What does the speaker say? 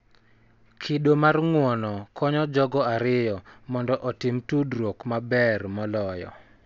Kido mar ng�uono konyo jogo ariyo mondo otim tudruok maber moloyo,